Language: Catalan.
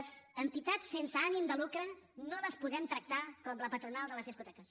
les entitats sense ànim de lucre no les podem tractar com la patronal de les discoteques